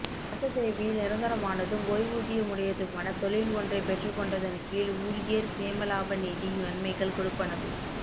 அரச சேவையில் நிரந்தரமானதும் ஓய்வூதியமுடையதுமான தொழில் ஒன்றைப் பெற்றுக் கொண்டதன் கீழ் ஊழியர் சேமலாப நிதி நன்மைகள் கொடுப்பனவு